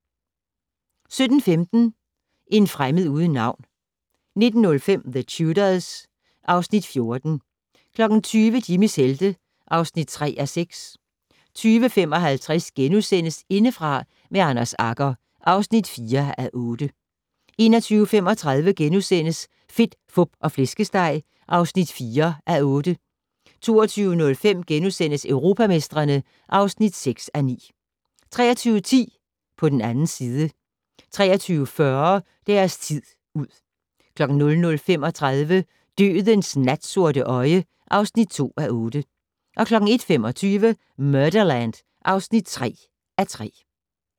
17:15: En fremmed uden navn 19:05: The Tudors (Afs. 14) 20:00: Jimmys helte (3:6) 20:55: Indefra med Anders Agger (4:8)* 21:35: Fedt, Fup og Flæskesteg (4:8)* 22:05: Europamestrene (6:9)* 23:10: På den 2. side 23:40: Deres tid ud 00:35: Dødens natsorte øje (2:8) 01:25: Murderland (3:3)